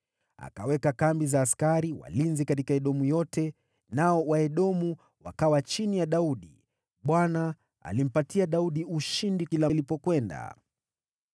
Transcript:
Akaweka kambi za askari walinzi katika Edomu yote, nao Waedomu wakawa chini ya Daudi. Bwana alimpatia Daudi ushindi kila alipokwenda.